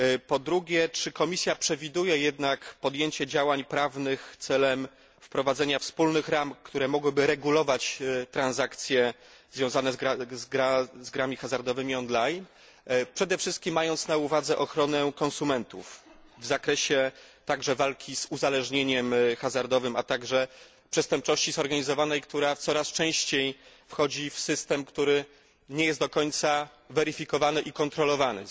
Po drugie, czy Komisja przewiduje jednak podjęcie działań prawnych celem wprowadzenia wspólnych ram, które mogłyby regulować transakcje związane z grami hazardowymi on line, mając przede wszystkim na uwadze ochronę konsumentów w zakresie walki z uzależnieniem hazardowym, a także przestępczości zorganizowanej, która coraz częściej wchodzi w system, który nie jest do końca weryfikowany i kontrolowany.